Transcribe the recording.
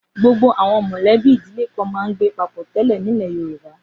Gbogbo àwọn mọ̀lẹ́bí ìdílé kan máa ń gbé papọ̀ tẹ́lẹ̀ nílẹ̀ Yorùbá.